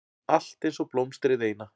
Allt einsog blómstrið eina.